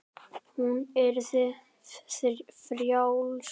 Hún yrði frjáls.